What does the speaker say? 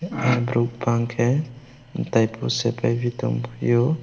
borok bangke tei motai prosad baibi tongpio.